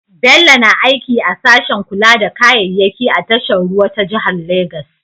Bello na aiki a sashen kula da kayayyaki a tashar ruwa ta jihar Legas.